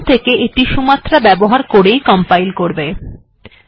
এখন থেকে এটি সুমাত্রা ব্যবহার করে কম্পাইল্ করবে